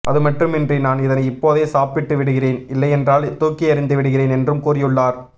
அதுமட்டுமின்றி நான் இதனை இப்பாதே சாப்பிட்டு விடுகிறேன் இல்லையென்றால் தூக்கி எறிந்து விடுகிறேன் என்றும் கூறியுள்ளார்